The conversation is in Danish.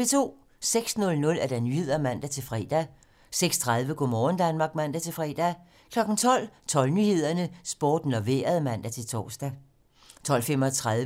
06:00: Nyhederne (man-fre) 06:30: Go' morgen Danmark (man-fre) 12:00: 12 Nyhederne, Sporten og Vejret (man-tor)